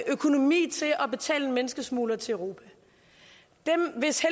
økonomi til at betale en menneskesmugler til europa dem hvis